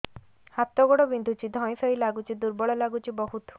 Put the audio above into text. ହାତ ଗୋଡ ବିନ୍ଧୁଛି ଧଇଁସଇଁ ଲାଗୁଚି ଦୁର୍ବଳ ଲାଗୁଚି ବହୁତ